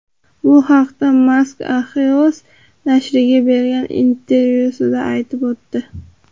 Bu haqda Mask Axios nashriga bergan intervyusida aytib o‘tdi .